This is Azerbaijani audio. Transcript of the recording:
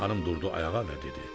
Xanım durdu ayağa və dedi.